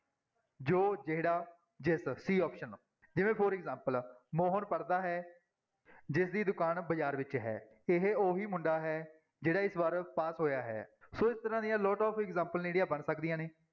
ਜੋ, ਜਿਹੜਾ, ਜਿਸ c option ਜਿਵੇਂ for example ਮੋਹਨ ਪੜ੍ਹਦਾ ਹੈ, ਜਿਸਦੀ ਦੁਕਾਨ ਬਾਜ਼ਾਰ ਵਿੱਚ ਹੈ, ਇਹ ਉਹੀ ਮੁੰਡਾ ਹੈ ਜਿਹੜਾ ਇਸ ਵਾਰ ਪਾਸ ਹੋਇਆ ਹੈ, ਸੋ ਇਸ ਤਰ੍ਹਾਂ ਦੀਆਂ lot of example ਜਿਹੜੀਆਂ ਬਣ ਸਕਦੀਆਂ ਨੇ।